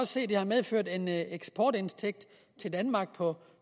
se at det har medført en eksportindtægt til danmark på